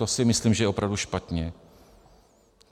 To si myslím, že je opravdu špatně.